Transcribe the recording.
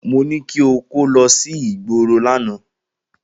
Mo ní kí o kó lọ sígboro lánàá.